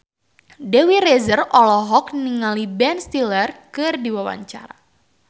Dewi Rezer olohok ningali Ben Stiller keur diwawancara